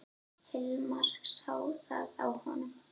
Hilmar sá það á honum.